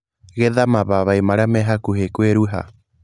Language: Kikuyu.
Getha mababaĩ marĩa me hakuhĩ kwĩruha.